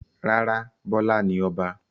Rárá, Bọ́lá ni Ọba.